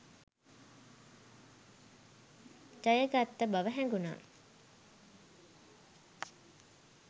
ජයගත්ත බව හැඟුණා.